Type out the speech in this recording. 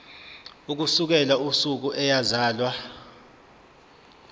ukusukela usuku eyazalwa